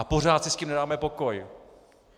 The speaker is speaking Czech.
A pořád si s tím nedáme pokoj.